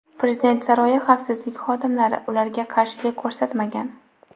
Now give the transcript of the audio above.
Prezident saroyi xavfsizlik xodimlari ularga qarshilik ko‘rsatmagan.